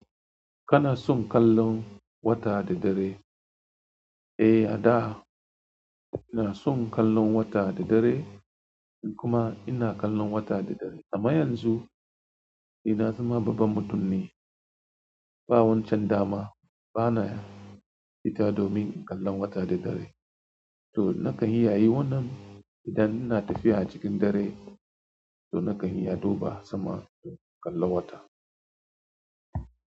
Kana son kallon wata da dare? Eh a da ina son kallon wata da dare kuma ina kallon wata da dare. Amma yanzu ni na zama babban mutum ne, ba wancan dama. Bana fita domin kallon wata da dare. To nakan yi ya yi wannan idan ina tafiya cikin dare, to nakan iya duba sama don kallan wata.